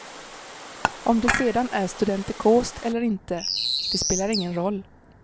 Om det sedan är studentikost eller inte, det spelar ingen roll.